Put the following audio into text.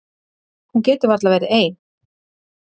Hún getur varla verið ein.